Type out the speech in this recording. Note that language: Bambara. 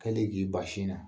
Hali k'i ban sin na.